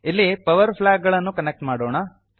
ಇಲ್ಲಿ power plug ನ್ನು connect ಮಾಡೋಣ